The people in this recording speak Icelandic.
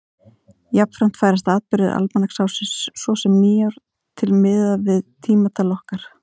Jafnframt færast atburðir almanaksársins, svo sem nýár, til miðað við tímatal okkar.